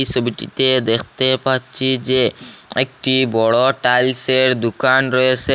ছবিটিতে দেখতে পাচ্ছি যে একটি বড় টাইলসের দুকান রয়েসে।